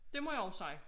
Det må jeg også sige